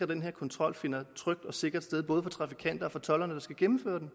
den her kontrol finder trygt og sikkert både for trafikanterne og for tolderne der skal gennemføre den